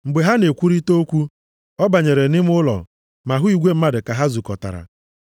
Mgbe ha na-ekwurịta okwu, ọ banyere nʼime ụlọ ma hụ igwe mmadụ ka ha zukọtara.